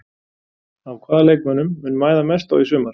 Á hvaða leikmönnum mun mæða mest á í sumar?